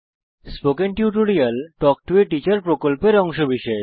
spoken tutorial talk to a teacher প্রকল্পের অংশবিশেষ